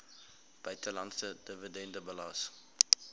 buitelandse dividende belas